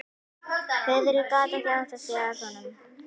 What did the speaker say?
Friðrik gat ekki áttað sig á honum.